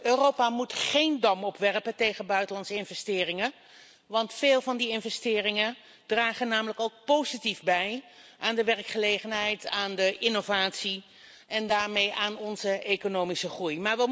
Europa moet echter geen dam opwerpen tegen buitenlandse investeringen, want veel van die investeringen dragen namelijk ook positief bij aan de werkgelegenheid, aan innovatie en daarmee aan onze economische groei.